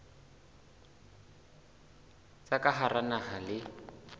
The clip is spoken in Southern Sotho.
tsa ka hara naha le